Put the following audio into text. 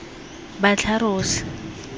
batlharos